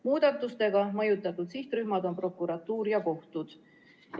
Muudatusega mõjutatud sihtrühmad on prokuratuur ja kohtud.